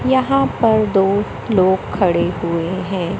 यहां पर दो लोग खड़े हुए हैं।